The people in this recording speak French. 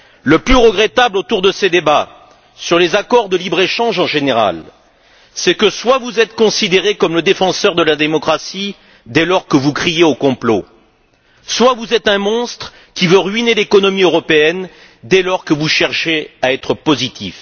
Le plus regrettable autour de ces débats sur les accords de libre échange en général, c'est que soit vous êtes considéré comme le défenseur de la démocratie dès lors que vous criez au complot, soit vous êtes un monstre qui veut ruiner l'économie européenne dès lors que vous cherchez à être positif.